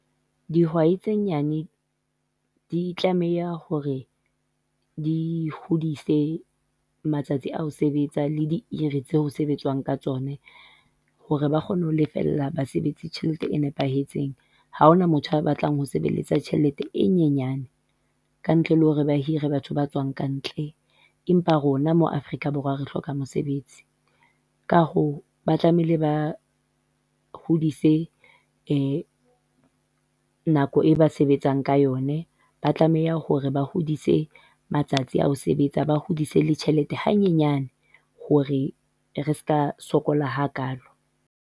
Dihwai tse nyane di tlameha hore di hodise matsatsi a ho sebetsa le di hora tseo ho sebetswang ka tsona, hore ba kgone ho lefella basebetsi tjhelete e nepahetseng, ha hona motho a batlang ho sebelletsa tjhelete e nyenyane, ka ntle le hore ba hire batho ba tswang kantle. Empa rona mo Afrika Borwa re hloka mosebetsi, ka hoo ba tlamehile ba hodise nako ba sebetsang ka yone, ba tlameha hore ba hodise matsatsi ao sebetsa ba hodise le tjhelete hanyenyane, hore re ska sokola ha kalo.